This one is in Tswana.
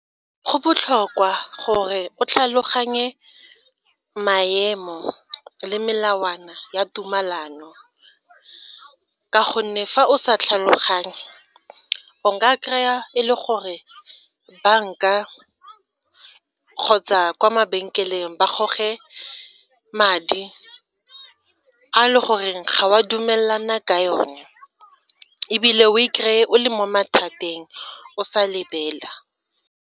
Go botlhokwa gore o tlhaloganye maemo le melawana ya tumalano ka gonne fa o sa tlhaloganye o ka kry-a e le gore banka kgotsa kwa mabenkeleng ba goge madi a e le goreng ga o a dumelana ka yone, ebile o i-kry-e o le mo mathateng o sa lebelela.